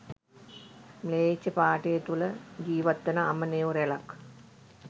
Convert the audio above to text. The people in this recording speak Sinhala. ම්ලේච්ච පාඨය තුල ජීවත් වන අමනයො රැලක්